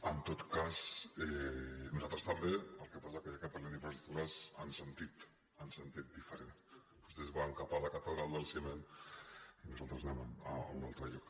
en tot cas nosaltres també el que passa que parlem d’infraestructures en sentit diferent vostès van cap a la catedral del ciment i nosaltres anem a un altre lloc